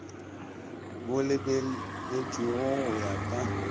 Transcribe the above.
bo lebeletpwego go ya ka